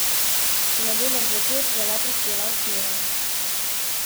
V ponedeljek zvečer je le prispela v Kijev.